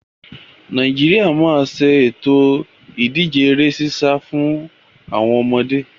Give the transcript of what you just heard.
Nàìjíríà máa ṣètò ìdíje ere sísá fún àwọn ọmọde